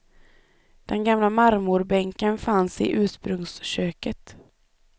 Den gamla marmorbänken fanns i ursprungsköket.